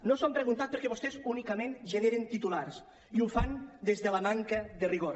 no s’ho han preguntat perquè vostès únicament generen titulars i ho fan des de la manca de rigor